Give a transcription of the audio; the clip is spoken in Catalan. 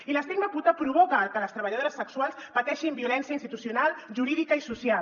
i l’estigma puta provoca que les treballadores sexuals pateixin violència institucional jurídica i social